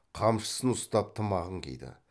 қамшысын ұстап тымағын киді